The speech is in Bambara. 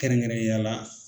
Kɛrɛnkɛrɛnnen ya la.